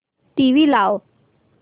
TV लाव